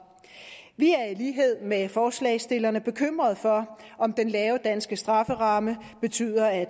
vi er i lighed med forslagsstillerne bekymret for om den lave danske strafferamme betyder at